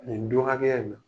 Nin don hakɛya in na.